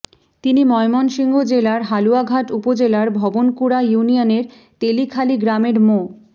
তিনি ময়মনসিংহ জেলার হালুয়াঘাট উপজেলার ভবনকুড়া ইউনিয়নের তেলিখালি গ্রামের মো